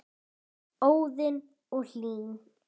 Hún lifði til fulls.